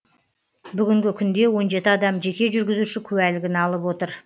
бүгінгі күнде он жеті адам жеке жүргізуші куәлігін алып отыр